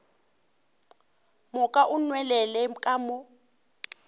moka o nwelele ka mo